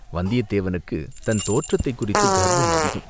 வந்தியத்தேவனுக்குத் தன் தோற்றத்தைக் குறித்துக் கர்வம் அதிகம்.